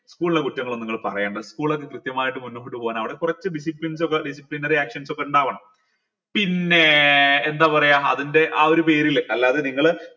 school ലെ കുറ്റങ്ങൾ ഒന്നു നിങ്ങൾ പറയണ്ട school ഒക്കെ കൃത്യമായിട്ട് മുന്നോട്ട് പോവാൻ അവിടെ കൊറച്ച് disciplines ഒക്കെ disciplinary actions ഒക്കെ ഇണ്ടാവണം പിന്നെ എന്താ പറയാ അതിന്റെ ആ ഒരു പേരിൽ അല്ലാതെ നിങ്ങൾ